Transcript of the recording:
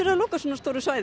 loka svona stóru svæði